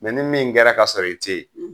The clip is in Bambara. ni min kɛra ka sɔrɔ i tɛ yen;